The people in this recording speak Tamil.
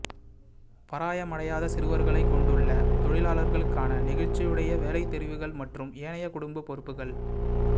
பராயமடையாத சிறுவர்களைக் கொண்டுள்ள தொழிலாளர்களுக்கான நெகிழ்ச்சியுடைய வேலைதெரிவுகள் மற்றும் ஏனைய குடும்ப பொறுப்புக்கள்